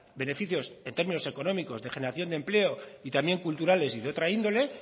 beneficios en términos económicos de generación de empleo y también culturales y de otra índole